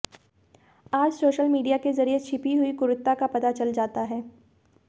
आज social media के जरिए छिपी हुई क्रूरता का पता चल जाता है